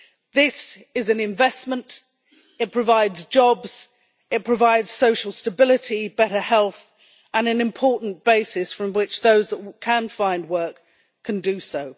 This is an investment it provides jobs, it provides social stability, better health and an important basis from which those that can find work can do so.